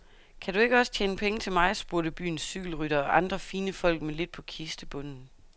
Kan du ikke også tjene penge til mig, spurgte byens cykelrytter og andre fine folk med lidt på kistebunden.